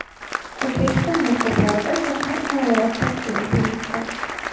O‘zbekiston maktablarida shaxmat xonalari tashkil etilmoqda.